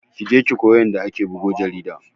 Kije ki koyi yanda ake bugo jarida